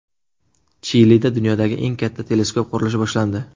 Chilida dunyodagi eng katta teleskop qurilishi boshlandi.